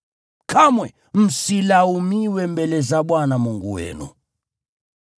Kamwe msilaumiwe mbele za Bwana Mungu wenu.